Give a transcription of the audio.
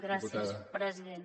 gràcies president